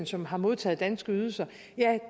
som har modtaget danske ydelser ja